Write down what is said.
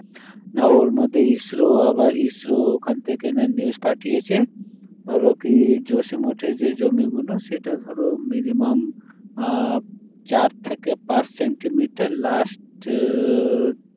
আর ওর মধ্যে ISRO আবার ISRO ওখান থেকে news পাঠিয়েছে ধরো কী জসীম মঠের যে জমিগুলো সেটা ধরো minimum আহ চার থেকে পাঁচ সেন্টিমিটার last